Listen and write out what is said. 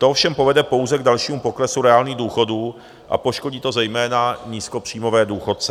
To ovšem povede pouze k dalšímu poklesu reálných důchodů a poškodí to zejména nízkopříjmové důchodce.